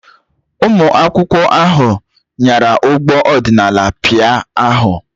Ụmụ akwụkwọ ahụ nyara ụgbọ adịnalinu pịa ahụ.